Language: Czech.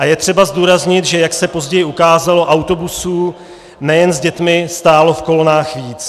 A je třeba zdůraznit, že, jak se později ukázalo, autobusů nejen s dětmi stálo v kolonách víc.